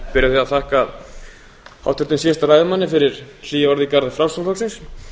að þakka háttvirtum síðasta ræðumanni fyrir hlý orð í garð framsóknarflokksins